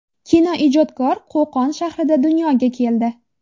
Kinoijodkor Qo‘qon shahrida dunyoga keldi.